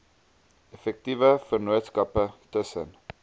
effektiewe vennootskappe tussen